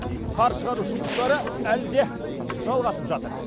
қар шығару жұмыстары әлі де жалғасып жатыр